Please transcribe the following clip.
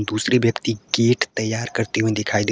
दूसरे व्यक्ति की गेट तैयार करते हुए दिखाई दे रहे--